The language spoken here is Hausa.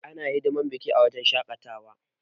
Ana hidiman biki a wuraren shaƙatawa.